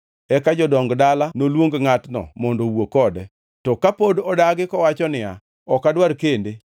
Eka jodong dala noluong ngʼatno mondo owuo kode. To kapod odagi kowacho niya, “Ok adwar kende,”